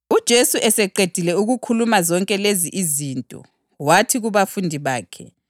UJesu eseqedile ukukhuluma zonke lezi izinto, wathi kubafundi bakhe,